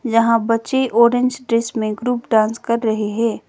यहां बच्चे orange dress में ग्रुप डांस कर रहे है।